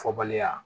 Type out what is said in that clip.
Fɔbaliya